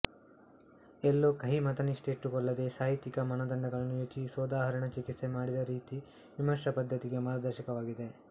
ಎಲ್ಲೂ ಕಹಿ ಮತನಿಷ್ಠೆ ಇಟ್ಟುಕೊಳ್ಳದೆ ಸಾಹಿತ್ಯಕ ಮಾನದಂಡಗಳನ್ನು ಯೋಜಿಸಿ ಸೋದಾಹರಣ ಚಿಕಿತ್ಸೆ ಮಾಡಿದ ರೀತಿ ವಿಮರ್ಶಾ ಪದ್ಧತಿಗೆ ಮಾರ್ಗದರ್ಶಕವಾಗಿದೆ